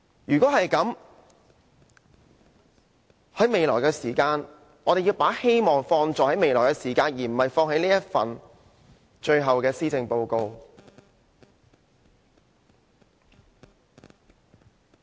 如果是這樣的話，我們要把希望放在未來，而不是放在他最後這份施政報告。